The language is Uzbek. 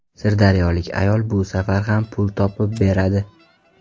Sirdaryolik ayol bu safar ham pul topib beradi.